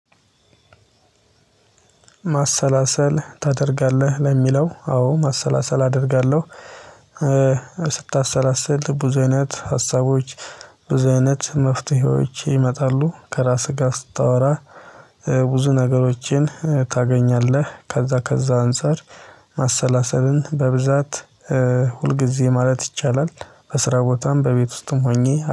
ማሰላሰል ታደርጋለህ ለሚለው? አዎ ማሰላሰል አደርጋለሁ። ስታሰላስል ብዙ አይነት ሀሳቦች ብዙ አይነት መፍትሄዎች ይመጣሉ ከራስህ ጋር ስታወራ። ብዙ ነገሮችን ታገኛለህ ከዛ ከዛ አንፃር። ማሰላሰልን በብዛት ሁልጊዜ ማለት ይቻላል። በስራ ቦታም በቤት ውስጥም ሆኜ